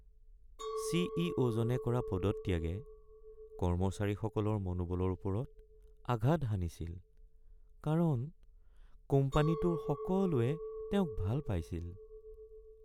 C. E. অ’.-জনে কৰা পদত্যাগে কৰ্মচাৰীসকলৰ মনোবলৰ ওপৰত আঘাত হানিছিল কাৰণ কোম্পানীটোৰ সকলোৱে তেওঁক ভাল পাইছিল।